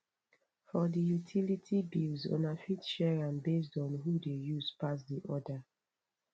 for di utility bills una fit share am based on who de use pass di other